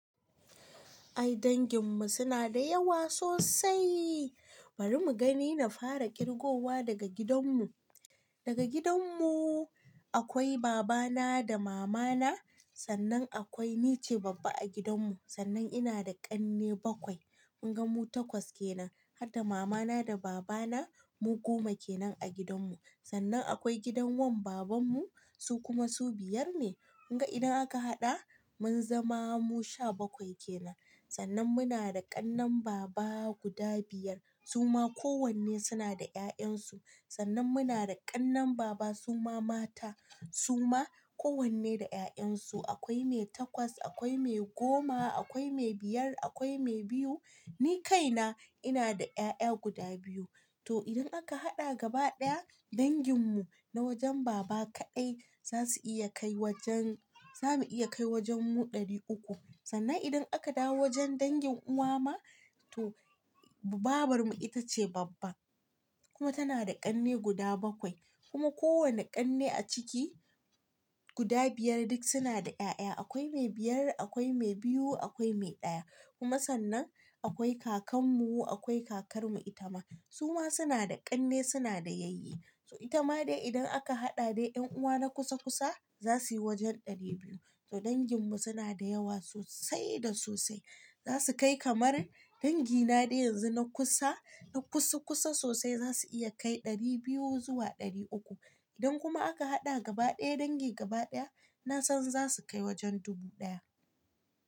Ai dangin mu suna da yawa sosai bari mu gani na fara kirgowa daga gidan mu. Daga gidan mu akwai baba na da mama na sannan akwai ni ce babba a gidan mu, sannan ina da kanne bakwai, kun ga mu takwas kenan. Harda mama na da baba na mu goma kenan a gidan mu. Sannan akwai gidan wan baban mu su kuma su biyar ne. Kun ga idan aka hada mun zama mu sha bakwai kenan. Sannan muna da kannen baba guda biyar suma ko wanne suna da 'ya'yan su. Sannan muna da kannen baba suma mata suma ko wanne da 'ya'yan su akwai mai takwas, akwai mai goma, akwai mai biyar, akwai mai biyu. Ni kaina ina da 'ya'ya guda biyu. To idan aka hada gaba ɗaya dangin mu na wajen baba kaɗai zasu iya kai wajen, zamu iya kai wajen mu ɗari uku. Sannan idan aka dawo wajen dangin uwa ma to babar mu ita ce babba kuma tana da ƙanne guda bakwai. Kuma ko wanne ƙanne a ciki guda biyar duk suna da 'ya'ya. Akwai mai biyar, akwai mai biyu, akwai mai ɗaya. Kuma sannan akwai kakan mu akwai kakar mu ita ma suma suna da ƙanne suna da yayyi. Itama dai idan aka hada dai yan uwa na kusa kusa zasuyi wajen dari biyu to dangin mu suna da yawa sosai da sosai. Zasu kai kamar dangina dai yanzu na kusa, na kusa kusa sosai zasu iya kai ɗari biyu zuwa ɗari uku. Idan kuma aka haɗa gaba ɗaya dangi gaba ɗaya nasan zasu kai wajen dubu ɗaya.